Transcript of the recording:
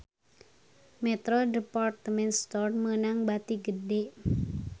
Metro Department Store meunang bati gede